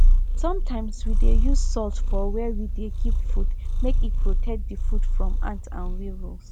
sometimes we dey use salt for where we dey keep food make e protect the food from ants and weevils